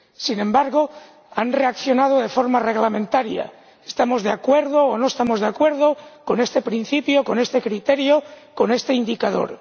Sin embargo, han reaccionado de forma reglamentaria estamos de acuerdo o no estamos de acuerdo con este principio, con este criterio, con este indicador.